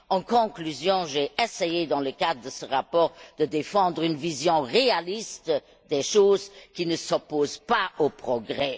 En conclusion, j'ai essayé, dans le cadre de ce rapport, de défendre une vision réaliste des choses, qui ne s'oppose pas au progrès.